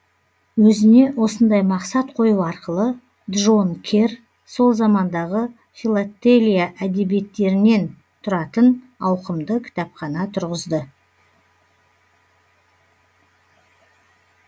өзіне осындай мақсат қою арқылы джон керр сол замандағы филотелия әдебиеттерінен тұратын ауқымды кітапхана тұрғызды